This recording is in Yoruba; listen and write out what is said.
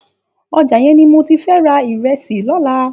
Òjá yèn ni mó ti fè rà irèsí lòlá